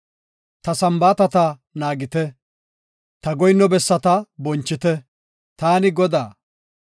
Ta Sambaatata naagite; ta goyinno bessaa bonchite. Taani Godaa.